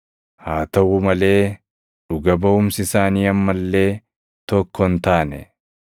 Haa taʼuu malee dhuga baʼumsi isaanii amma illee tokko hin taane.